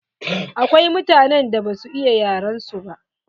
Akwai mutanen da ba su iya yaren su ba.